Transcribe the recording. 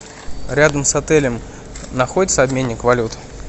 рядом с отелем находится обменник валют